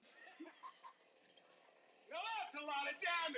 Enn er eitt sem mér þykir varhugavert við minningargreinar.